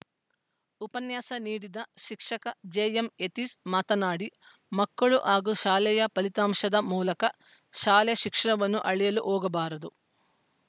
ಉಪನ್ಯಾಸ ನೀಡಿದ ಶಿಕ್ಷಕ ಜೆ ಎಂ ಯತೀಶ್‌ ಮಾತನಾಡಿ ಮಕ್ಕಳು ಹಾಗೂ ಶಾಲೆಯ ಫಲಿತಾಂಶದ ಮೂಲಕ ಶಾಲೆ ಶಿಕ್ಷಣವನ್ನು ಅಳೆಯಲು ಹೋಗಬಾರದು